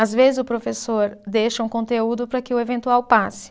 Às vezes o professor deixa um conteúdo para que o eventual passe.